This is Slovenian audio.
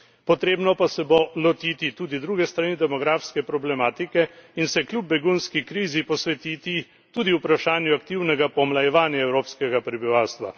Potrebno pa se bo lotiti tudi druge strani demografske problematike in se kljub begunski krizi posvetiti tudi vprašanju aktivnega pomlajevanja evropskega prebivalstva.